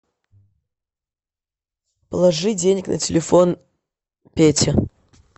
положи денег на телефон пете